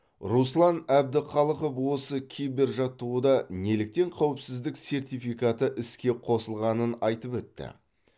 руслан әбдіхалықов осы кибер жаттығуда неліктен қауіпсіздік сертификаты іске қосылғанын айтып өтті